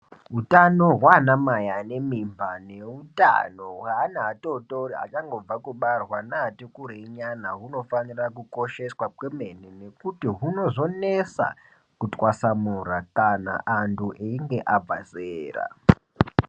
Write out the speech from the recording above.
Hutano hwanamai anemimba nehutano hweana atotori achangobva kubarwa neati kurei nyana hunofanira kuosheswa kwemene. Nekuti hunozinesa kutwasamura kana antu aenge abvazera.